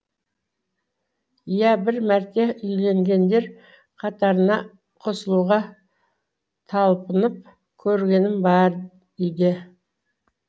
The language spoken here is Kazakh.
иә бір мәрте үйленгендер қатарына қосылуға талпынып көргенім бар үйде